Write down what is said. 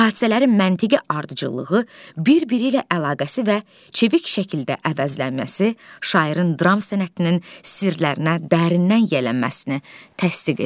Hadisələrin məntiqi ardıcıllığı, bir-biri ilə əlaqəsi və çevik şəkildə əvəzlənməsi şairin dram sənətinin sirlərinə dərindən yiyələnməsini təsdiq edir.